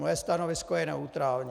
Moje stanovisko je neutrální.